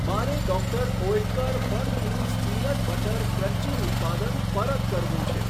મારે doctor Oetker Funfoods peanut butter crunchy ઉત્પાદન પરત કરવું છે.